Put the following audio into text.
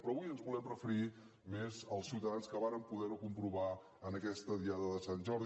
però avui ens volem referir més als ciutadans que varen poder ho comprovar en aquesta diada de sant jordi